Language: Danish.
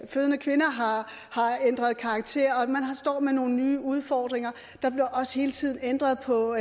fødende kvinder har ændret karakter og man står med nogle nye udfordringer der bliver også hele tiden ændret på